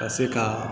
Ka se ka